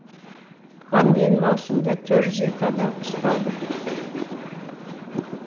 бұған дейін маусымда төрт жүз екі адам ұсталды